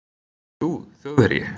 og þú þjóðverji